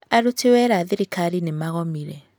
Aruti wĩra a thirikari nĩ magomire.